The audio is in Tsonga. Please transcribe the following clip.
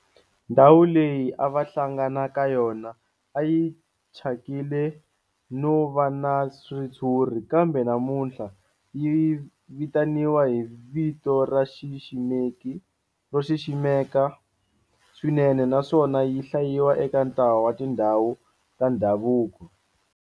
Ndhawu leyi a va hlangana ka yona a yi thyakile no va na ritshuri kambe namuntlha yi vitaniwa hi vito ro xiximeka swinene naswona yi hlayiwa eka ntlawa wa tindhawu ta ndhavuko.